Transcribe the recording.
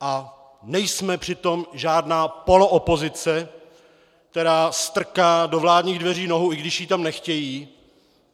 A nejsme přitom žádná poloopozice, která strká do vládních dveří nohu, i když ji tam nechtějí.